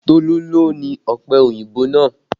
Tolu ló ni ọpẹ òyìnbó náà